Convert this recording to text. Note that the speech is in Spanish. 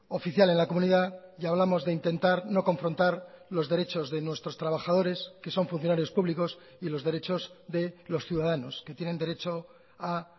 oficial en la comunidad y hablamos de intentar no confrontar los derechos de nuestros trabajadores que son funcionarios públicos y los derechos de los ciudadanos que tienen derecho a